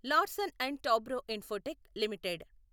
Larsen and Toubro Infotech limited